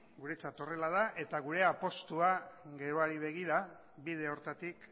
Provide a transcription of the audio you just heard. guretzat horrela da eta gure apustua geroari begira bide horretatik